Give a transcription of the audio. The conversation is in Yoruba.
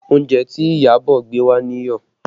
Oúnjẹ tí Iyabọ̀ gbé wá níyọ̀